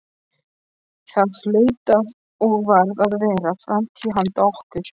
Það hlaut og varð að vera framtíð handa okkur.